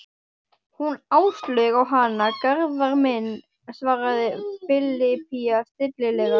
Hún Áslaug á hana, Garðar minn, svaraði Filippía stillilega.